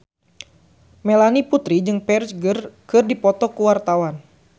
Melanie Putri jeung Ferdge keur dipoto ku wartawan